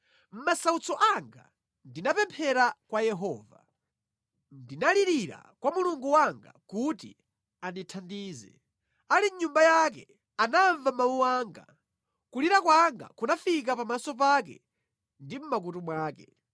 Mʼmasautso anga ndinapemphera kwa Yehova; ndinalirira kwa Mulungu wanga kuti andithandize. Ali mʼNyumba yake, anamva mawu anga; kulira kwanga kunafika pamaso pake ndi mʼmakutu mwake.